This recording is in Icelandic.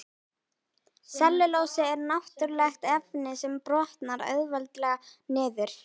Sellulósi er náttúrulegt efni sem brotnar auðveldlega niður.